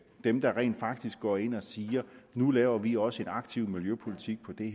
dem der rent faktisk går ind og siger at nu laver vi også en aktiv miljøpolitik på det